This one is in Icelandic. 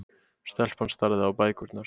Stelpan starði á bækurnar.